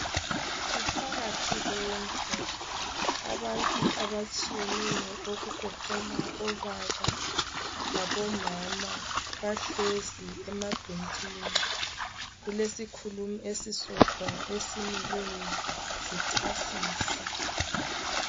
Kuphakathi kwendlu abantu abatshiyeneyo kugoqela obaba labo mama bahlezi emabhentshini kulesikhulumi esisodwa esimileyo zichasisa